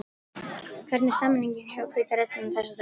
Hvernig er stemningin hjá Hvíta Riddaranum þessa dagana?